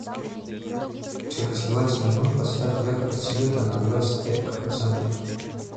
через двадцать минут поставь яркость света на двадцать пять процентов